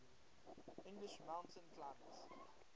english mountain climbers